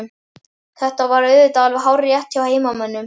Þetta var auðvitað alveg hárrétt hjá heimamönnum.